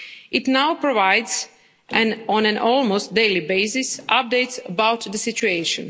It now provides, on an almost daily basis, updates about the situation.